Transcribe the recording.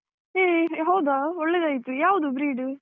ಹೇ ಹೌದಾ ಒಳ್ಳೆದಾಯ್ತು, ಯಾವ್ದು breed ?